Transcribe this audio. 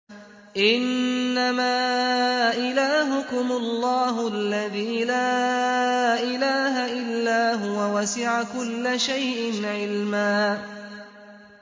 إِنَّمَا إِلَٰهُكُمُ اللَّهُ الَّذِي لَا إِلَٰهَ إِلَّا هُوَ ۚ وَسِعَ كُلَّ شَيْءٍ عِلْمًا